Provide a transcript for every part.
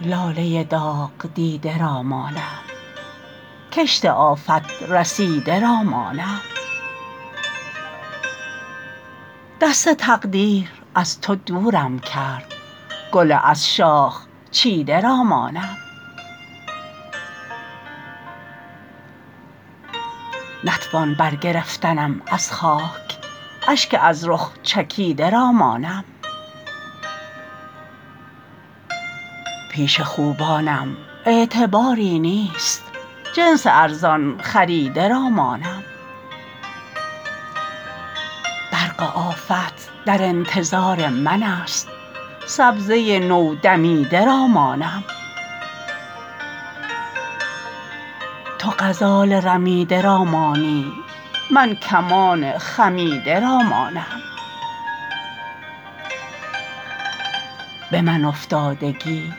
لاله داغدیده را مانم کشت آفت رسیده را مانم دست تقدیر از تو دورم کرد گل از شاخ چیده را مانم نتوان بر گرفتنم از خاک اشک از رخ چکیده را مانم پیش خوبانم اعتباری نیست جنس ارزان خریده را مانم برق آفت در انتظار من است سبزه نو دمیده را مانم تو غزال رمیده را مانی من کمان خمیده را مانم به من افتادگی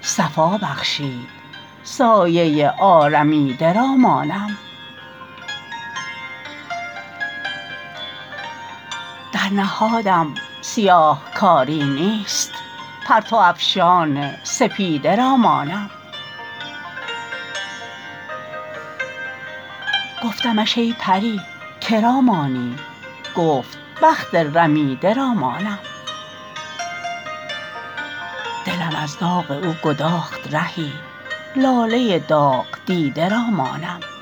صفا بخشید سایه آرمیده را مانم در نهادم سیاهکاری نیست پرتو افشان سپیده را مانم گفتمش ای پری که را مانی گفت بخت رمیده را مانم دلم از داغ او گداخت رهی لاله داغدیده را مانم